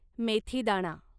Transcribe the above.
मेथीदाणा